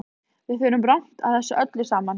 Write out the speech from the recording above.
Við förum rangt að þessu öllu saman.